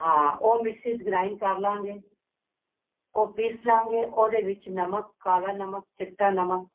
ਹਾਂ ਉਹ ਮਿਕਸੀ ਚ grind ਕਰ ਲਵਾਂਗੇ ਉਹ ਪਿਸ ਲਵਾਂਗੇ ਉਹਦੇ ਵਿੱਚ ਨਮਕ ਕਾਲਾ ਨਮਕ ਚਿੱਟਾ ਨਮਕ